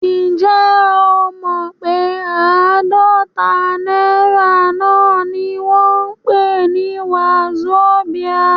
Ǹjẹ́ o mọ pé àádọ́ta náírà náà ni wọ́n ń pè ní wazobia?